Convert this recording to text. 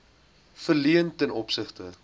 verleen ten opsigte